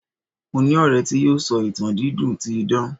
mo ni ọrẹ ti yíò sọ ìtàn dídùn ti idan